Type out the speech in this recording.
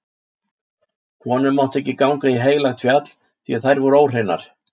Konur máttu ekki ganga á heilagt fjall, því þær voru óhreinar.